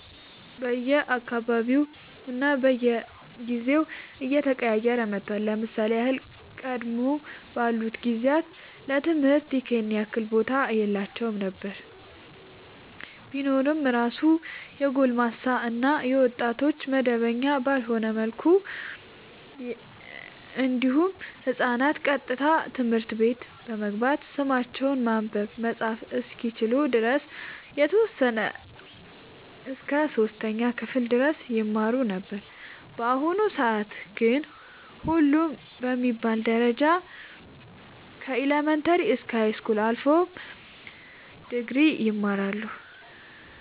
በየ አካባቢውና በየጊዜው እየተቀያየረ መጥቷል ለምሳሌ ያህል ቀደም ባሉት ጊዜያት ለትምህርት ይኸን ያህል ቦታ የላቸውም ነበር ቢኖር እራሱ የጎልማሳ እና የወጣቶች መደበኛ ባልሆነ መልኩ እንዲሁም ህፃናት ቀጥታ ትምህርት ቤት በመግባት ስማቸውን ማንበብ መፃፍ እስከሚችሉ ድረስ የተወሰነ እስከ 3ኛ ክፍል ድረስ ይማሩ ነበር በአሁኑ ሰአት ግን ሁሉም በሚባል ደረጃ ከኢለመንታሪ እስከ ሀይስኩል አልፎም ድግሪ ይማራሉ